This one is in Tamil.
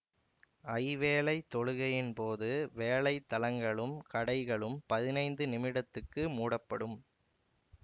ஐவேளை தொழுகையின் போது வேலைத்தளங்களும் கடைகளும் பதினைந்து நிமிடத்துக்கு மூடப்படும்